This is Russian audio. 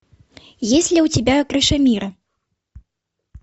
есть ли у тебя крыша мира